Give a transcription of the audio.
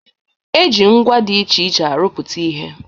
E ji ngwa dị iche iche arụpụta ihe.